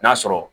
N'a sɔrɔ